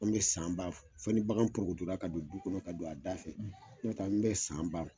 An bɛ san ba fɔ ni bagan porokotola ka don du kɔnɔ ka don a da fɛ, n'o tɛ an bɛ san ban